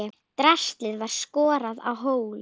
Draslið var skorað á hólm.